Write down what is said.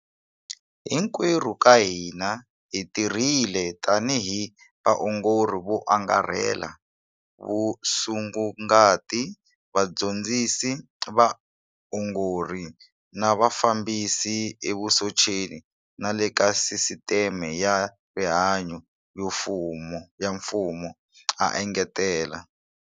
Hinkwerhu ka hina hi tirhile tanihi vaongori vo angarhela, vasungukati, vadyondzisi va vaongori na vafambisi evusocheni na le ka sisiteme ya rihanyu ya mfumo, a engetela.